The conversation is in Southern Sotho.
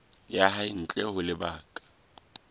ya hae ntle ho lebaka